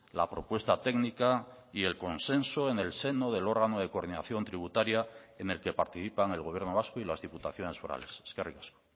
la propuesta técnica y el consenso en el seno del órgano de coordinación tributaria en el que participan el gobierno vasco y las diputaciones forales eskerrik asko